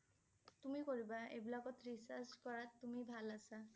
তুমি কৰিবা। এইবিলাকত research কৰাত তুমি ভাল আছা